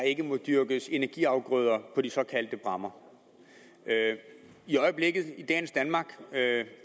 ikke må dyrkes energiafgrøder på de såkaldte bræmmer i øjeblikket i dagens danmark